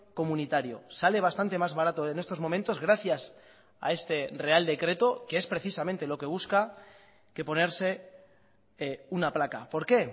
comunitario sale bastante más barato en estos momentos gracias a este real decreto que es precisamente lo que busca que ponerse una placa por qué